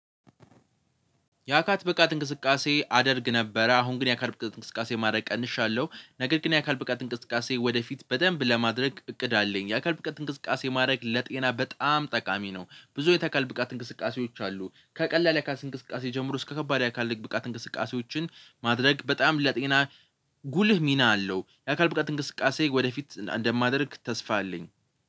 የአካል ብቃት እንቅስቃሴ አደርግ ነበረ አሁን ግን የአካል ብቃት እንቅስቃሴ ማድረግ ቀንሻለሁ ነገር ግን የአካል ብቃት እንቅስቃሴ ወደፊት በደንብ ለማድረግ እቅድ አለኝ። የአካል ብቃት እንቅስቃሴ ማድረግ ለጤና በጣም ጠቃሚ ነው። ብዙ የከካል ብቃት እንቅስቃሴዎች አሉ ከቀላል የአካል እንቅስቃሴ ጀምሮ እስከ ከባድ የአካል ብቃት እንቅስቃሴዎችን ማድረግ በጣም ለጤና ጉልህ ሚና አለው። የአካል ብቃት እንቅስቃሴ ወደፊት እንደማደርግ ተስፋ አለኝ።